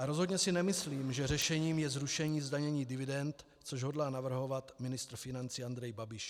A rozhodně si nemyslím, že řešením je zrušení zdanění dividend, což hodlá navrhovat ministr financí Andrej Babiš.